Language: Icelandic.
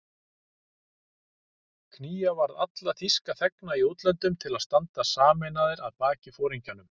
Knýja varð alla þýska þegna í útlöndum til að standa sameinaðir að baki foringjanum